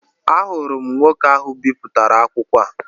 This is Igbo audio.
Ahụrụ m nwoke ahụ bipụtara akwụkwọ a